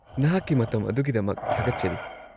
-ꯅꯍꯥꯛꯀꯤ ꯃꯇꯝ ꯑꯗꯨꯒꯤꯗꯃꯛ ꯊꯥꯒꯠꯆꯔꯤ꯫